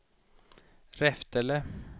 Reftele